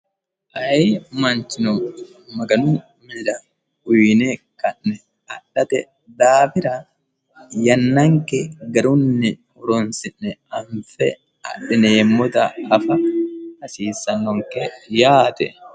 aye manchino maganu miida uyine kanne adhate daabira yannanki garunni huroonsi'ne anfe adhineemmota hafa hasiissannonke yaate